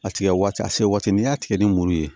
A tigɛ waati a se waati n'i y'a tigɛ ni muru ye